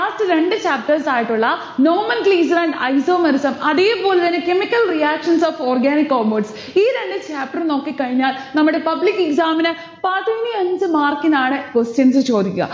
last രണ്ട് chapters ആയിട്ടുള്ള normal glincer and isomerism അതേപോലെതന്നെ chemical reactions of organic compounds ഈ രണ്ട് chapter ഉം നോക്കിക്കഴിഞ്ഞാൽ നമ്മടെ public exam ന് പതിനഞ്ച് mark നാണ് questions ചോദിക്ക.